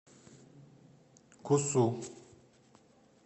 кусу